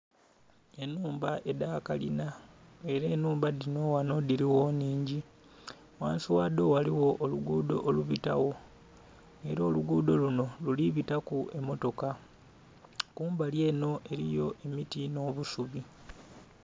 Enhumba edhakalinha era enhumba dhinho ghanho dhirigho nhingi, ghansi ghadho ghaligho olugudho olubitagho era olugudho lunho lulibitaku emmotoka, kumbali enho eriyo emiti nho busubi.